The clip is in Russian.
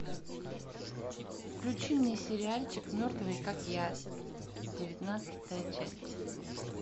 включи мне сериальчик мертвые как я девятнадцатая часть